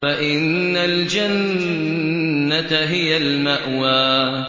فَإِنَّ الْجَنَّةَ هِيَ الْمَأْوَىٰ